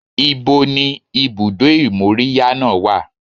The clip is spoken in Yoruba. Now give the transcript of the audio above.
Ibo ni ibùdó ìmóríyá náà wà?